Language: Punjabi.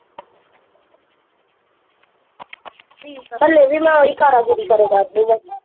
ਹਲੇ ਵੀ ਮੈਂ ਓਹੀ ਕਾਰਾਂਗੀਰੀ ਕਰਿਆ ਕਰਦੀ ਆ